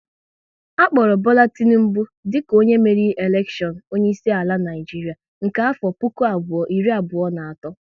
A kpọrọ Bola Tinubu dika onye meriri elekshion onye isi ala Naịjiria nke afọ puku abụọ iri abụọ na atọ